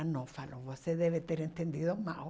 Ah, não, falou, você deve ter entendido mal.